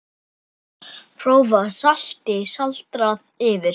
Grófu salti sáldrað yfir.